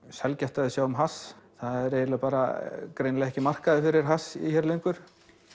sjaldgæft að við sjáum hass það er eiginlega bara greinilega ekki markaður fyrir hass hér lengur